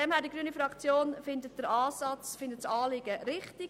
Die grüne Fraktion findet den Ansatz und das Anliegen richtig.